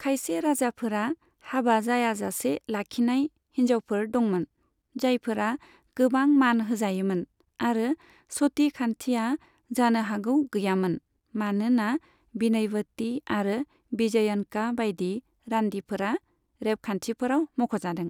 खायसे राजाफोरा हाबा जायाजासे लाखिनाय हिनजावफोर दंमोन, जायफोरा गोबां मान होजायोमोन, आरो सती खान्थिया जानो हागौ गैयामोन, मानोना बिनयवती आरो बिजयनका बायदि, रान्दिफोरा, रेबगान्थिफोराव मख'जादों।